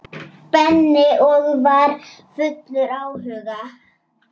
Benni og var fullur áhuga.